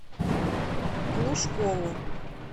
глушкову